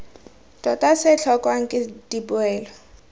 tota se tlhokwang ke dipoelo